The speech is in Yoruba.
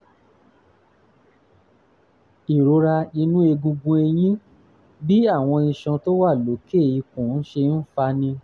ìrora inú egungun ẹ̀yìn: bí àwọn iṣan tó wà lókè ikùn ṣe ń fani